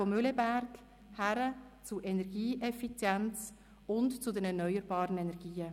weg von Mühleberg hin zu Energieeffizienz und zu den erneuerbaren Energien.